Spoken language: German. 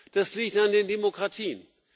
Das liegt an den Demokratien!